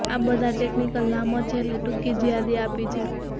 આ બધાં ટેક્નિકલ નામો છે એટલે ટૂંકી જ યાદી આપી છે